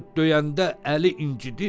Axı döyəndə əli incidir.